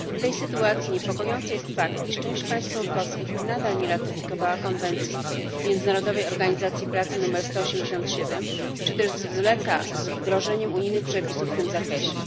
W tej sytuacji niepokojący jest fakt, że część państw członkowskich nadal nie ratyfikowała konwencji Międzynarodowej Organizacji Pracy nr 187 czy też zwleka z wdrożeniem unijnych przepisów w tym zakresie.